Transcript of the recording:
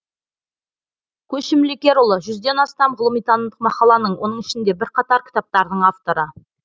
көшім лекерұлы жүзден астам ғылыми танымдық мақаланың оның ішінде бірқатар кітаптардың авторы